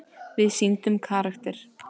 Við sýndum karakter.